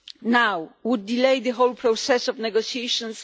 now would delay the whole process of the negotiations.